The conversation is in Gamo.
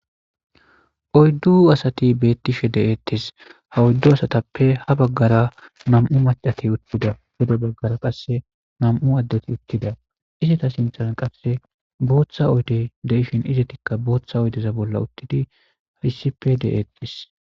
oyddu asati bettishe deettis ha oyddu asatappe ha baggara nam7u macati uttida gede baggara qasse nam7u addeti uttida isata sinthan qasse booththa oydey deishin izetikka booththa oydeza bolla uttidi issipe de7eettis